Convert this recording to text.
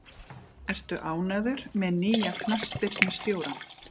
Ertu ánægður með nýja knattspyrnustjórann?